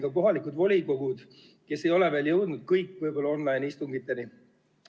Kõik kohalikud volikogud ei ole veel võib-olla jõudnud online-istungiteni.